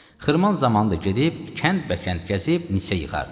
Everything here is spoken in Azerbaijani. Xırman zamanı da gedib kənd bəkənd gəzib neçə yığardı.